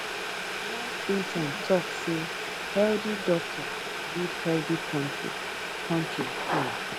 one intern tok say healthy doctor build health kontri kontri um